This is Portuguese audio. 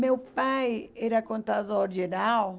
Meu pai era contador geral.